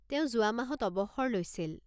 তেওঁ যোৱা মাহত অৱসৰ লৈছিল।